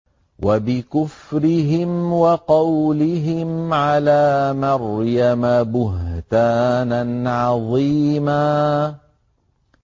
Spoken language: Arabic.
وَبِكُفْرِهِمْ وَقَوْلِهِمْ عَلَىٰ مَرْيَمَ بُهْتَانًا عَظِيمًا